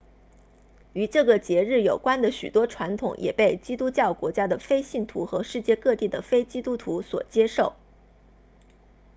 与这个节日有关的许多传统也被基督教国家的非信徒和世界各地的非基督徒所接受